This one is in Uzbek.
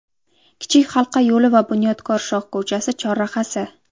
Kichik halqa yo‘li va Bunyodkor shoh ko‘chasi chorrahasi.